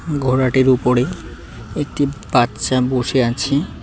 ঘোড়াটির উপরে একটি বাচ্চা বসে আছে।